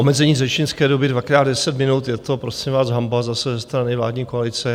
Omezení řečnické doby dvakrát 10 minut - je to prosím vás hanba zase ze strany vládní koalice.